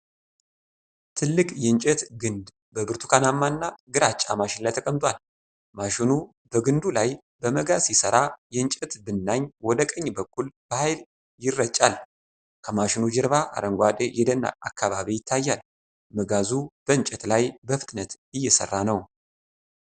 ትልቅ የእንጨት ግንድ በብርቱካናማና ግራጫ ማሽን ላይ ተቀምጧል። ማሽኑ በግንዱ ላይ በመጋዝ ሲሰራ የእንጨት ብናኝ ወደ ቀኝ በኩል በኃይል ይረጫል። ከማሽኑ ጀርባ አረንጓዴ የደን አካባቢ ይታያል፤ መጋዙ በእንጨት ላይ በፍጥነት እየሠራ ነው።